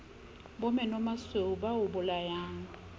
bo menomasweu ba o bolayang